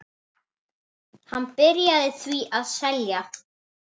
Hann byrjaði því að selja.